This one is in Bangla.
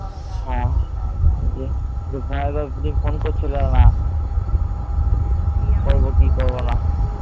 ভয় লাগছিল। দিয়ে phone করছিলাম না। করব কি করব না